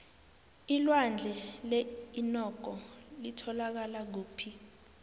ilwandle leinnoko litholakala kuphi